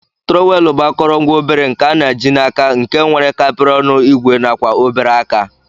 Trọwel bu akọrọngwa obere nke ana ji na aka nke nwere kapiri ọnụ igwe nakwa obere aka.